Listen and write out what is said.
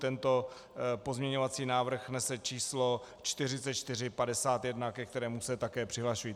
Tento pozměňovací návrh nese číslo 4451, ke kterému se také přihlašuji.